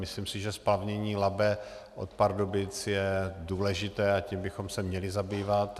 Myslím si, že splavnění Labe od Pardubic je důležité, a tím bychom se měli zabývat.